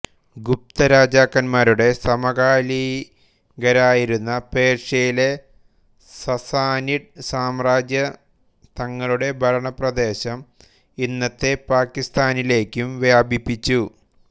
ഗുപ്ത രാജാക്കന്മാരുടെ സമകാലികരായിരുന്ന പേർഷ്യയിലെ സസ്സാനിഡ് സാമ്രാജ്യം തങ്ങളുടെ ഭരണ പ്രദേശം ഇന്നത്തെ പാകിസ്താനിലേയ്ക്കും വ്യാപിപ്പിച്ചു